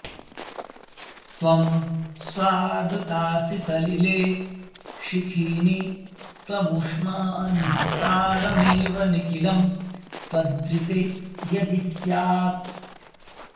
त्वं स्वादुतासि सलिले शिखिनि त्वमूष्मा निःसारमेव निखिलं त्वदृते यदि स्यात्